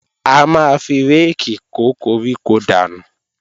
A máa fi réèkì kó koríko dànù